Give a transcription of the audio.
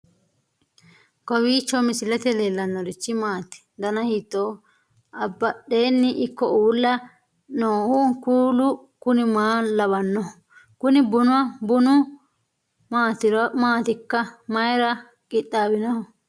kowiicho misilete leellanorichi maati ? dana hiittooho ?abadhhenni ikko uulla noohu kuulu kuni maa lawannoho? kuni bunu maatikka mayra qixaawinoho